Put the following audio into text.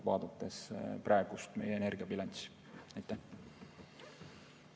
Meie praegune energiabilanss.